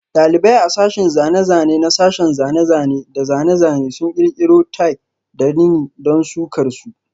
Dalibai a sashin zane-zane na sashen zane-zane da zane-zane sun kirkiro Tie da rini don sukar su.